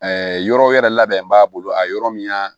yɔrɔ wɛrɛ labɛn b'a bolo a yɔrɔ min ya